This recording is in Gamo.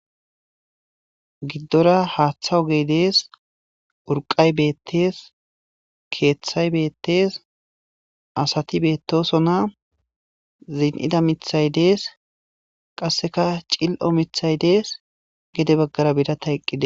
giddora haaththa o ge dees urqay beettees keeththay beettees asati beettosonna ziin7ida mithay dees qasseka cil7o mithay dees gede baggara bida tayqqide